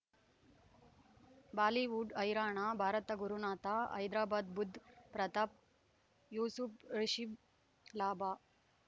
Bollywood ಹೈರಾಣ ಭಾರತ ಗುರುನಾಥ ಹೈದರಾಬಾದ್ ಬುಧ್ ಪ್ರತಾಪ್ ಯೂಸುಫ್ ರಿಷಬ್ ಲಾಭ